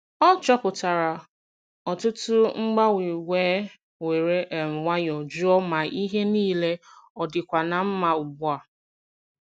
Ọ chọpụtara ọtụtụ mgbanwe wee were um nwayọọ jụọ ma ihe niile ọ dịkwa na mma ugbu a.